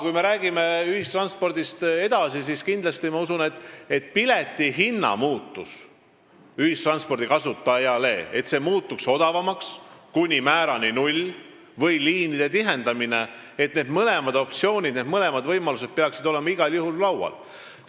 Kui me räägime ühistranspordist edasi, siis mõlemad võimalused – nii ühissõiduki piletihinna odavnemine kuni nullmäärani kui ka liinide tihendamine – peaksid olema igal juhul arutelu all.